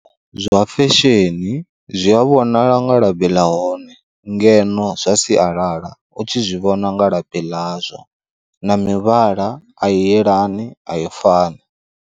Zwa fesheni, zwi a vhonala nga labi ḽa hone ngeno zwa sialala u tshi zwi vhona nga labi ḽazwo na mivhala a i yelani ayi fani.